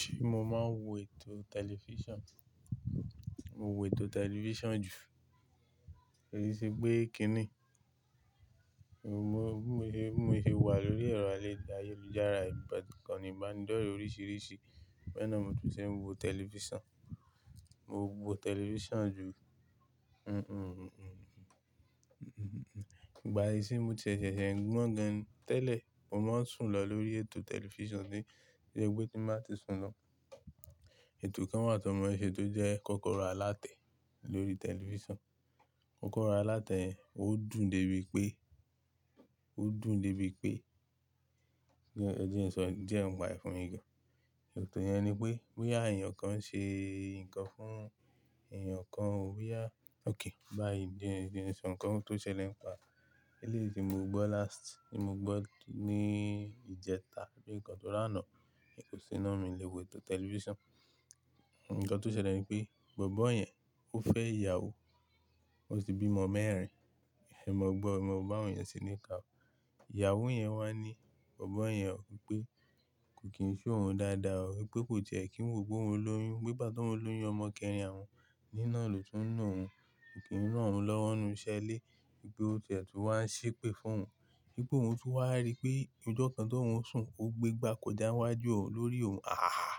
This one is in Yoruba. Ṣé mo máa ń wò ètò tẹlifíṣàn? Mo wò ètò tẹlifíṣàn jù, kosiṣe pé kíni? Mo bi mo se wà lórí ẹ̀rọ ayelùjára yìí ikànní ìbánidọ́rẹ́ oríṣìíríṣìí, bẹ́ẹ̀ náà ni mo tún ṣe ń wo tẹlifíṣàn. Mo wo tẹlifíṣàn jù. Ìgbà iṣin ni mo tei ṣẹ̀ṣẹ̀ ń gbọ́n gan ni tẹ́lẹ̀, mo máa ń sùn lọ lórí ètò tẹlifíṣàn to jẹ́ pé tí n ba ti sùn lọ. Ètò kan wà tan ma n se tó jẹ́ kọ́kọ́ra alátẹ lórí tẹlifíṣàn. Kọ́kọ́ro alátẹ yen ó dùn débi pé ó dùn débi pé, ohun tí mo ń sọ yìí jẹ́ ǹ pá e fún mi gan. Ètò yẹn ni pé boyá èèyàn kan ń ṣe nǹkan fún èèyàn kan o boya, òkay bá yìí ẹ jẹ́ n sọ ǹkan tó ṣẹlẹ̀ nípa eléyi ti mo gbọ́ last, tí mo gbọ́ ní ìjẹta abii nǹkan tóri aná. Ní bò ṣé náà mi le wo ètò tẹlifíṣàn. Ǹǹkan tó ṣẹlẹ̀ ni pé bọ̀bọ́ yẹn ó fẹ́ ìyàwó, wọ́n tì bí ọmọ mẹ́rin. Ẹ̀mọ̀ gbọ́ o, ẹ̀ mọ̀ gbo bàwọn yẹn ṣe ní iká. Ìyàwó yẹn wá ní bọ̀bọ́ yẹn pé kò kí n se oùn dáadáa o, wípé kò tiẹ́ kí n wò ó pe oun lóyún, wípé nígbà t'oun loyún ọmọ kẹrin àwọn níná lo tún ná oun, kò kí n rán òun lọ́wọ́ nínú iṣẹ́ ilé, wípé ó ti ẹ̀ tún wá ń ṣépè fún òun, wípé òun tún wá rí pé ọjọ́ kan t'oun sùn ó gbé igbá kọjá níwájú òun lórí òun. Ah!